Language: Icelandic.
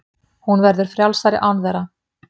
Hún verður frjálsari án þeirra.